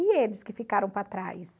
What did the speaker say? E eles que ficaram para trás?